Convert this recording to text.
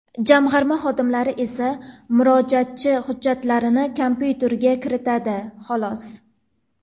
Jamg‘arma xodimlari esa murojaatchi hujjatlarini kompyuterga kiritadi, xolos.